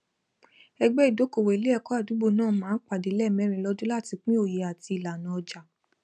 ẹgbẹ ìdókòwò iléẹkọ àdúgbò nàà máa ń pàdé lẹẹmẹrin lọdún latí pín oye àti ìlànà ọjà